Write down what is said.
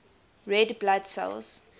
red blood cells